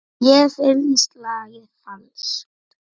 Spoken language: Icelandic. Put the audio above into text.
Mér finnst lagið falskt.